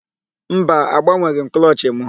Mba, agbanweghị m klọchị mụ.